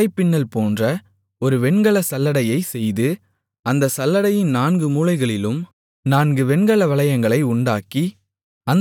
வலைப்பின்னல்போன்ற ஒரு வெண்கலச் சல்லடையைச் செய்து அந்தச் சல்லடையின் நான்கு மூலைகளிலும் நான்கு வெண்கல வளையங்களை உண்டாக்கி